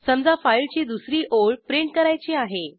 समजा फाईलची दुसरी ओळ प्रिंट करायची आहे